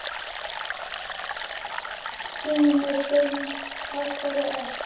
Þínir synir Hafþór og Örn.